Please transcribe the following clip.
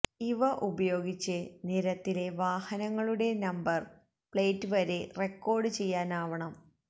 ഇവ ഉപയോഗിച്ച് നിരത്തിലെ വാഹനങ്ങളുടെ നമ്പര് പ്ലേറ്റ് വരെ റെക്കോര്ഡ് ചെയ്യാനാവണം